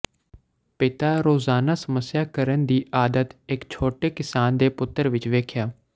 ਪਿਤਾ ਰੋਜ਼ਾਨਾ ਸਮੱਸਿਆ ਕਰਨ ਦੀ ਆਦਤ ਇੱਕ ਛੋਟੇ ਕਿਸਾਨ ਦੇ ਪੁੱਤਰ ਵਿੱਚ ਵੇਖਿਆ